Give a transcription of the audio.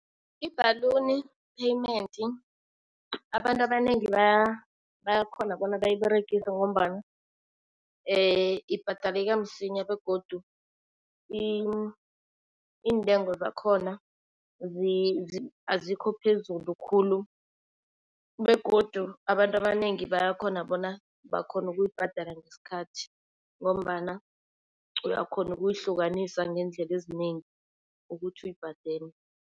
I-bhaluni payment abantu abanengi bayakhona bona bayiberegise ngombana ibhadeleka msinya begodu iintengo zakhona azikho phezulu khulu. Begodu abantu abanengi bayakhona bona bakhone ukuyibhadala ngesikhathi ngombana uyakhona ukuyihlukanisa ngeendlela ezinengi ukuthi uyibhadele.